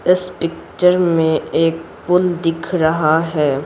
इस पिक्चर में एक पुल दिख रहा है।